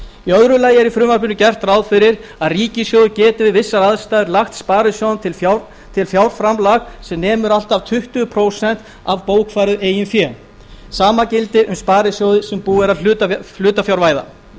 í öðru lagi er í frumvarpinu gert ráð fyrir því að ríkissjóður geti við vissar aðstæður lagt sparisjóðum til fjárframlag sem nemur allt að tuttugu prósent af bókfærðu eigin fé sama gildi um sparisjóði sem búið er að hlutafjárvæða lagt